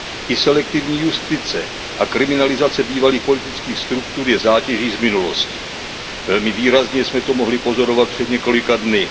I selektivní justice a kriminalizace bývalých politických struktur je zátěží z minulosti. Velmi výrazně jsme to mohli pozorovat před několika dny.